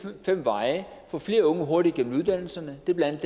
fem veje vi får flere unge hurtigere igennem uddannelserne det er blandt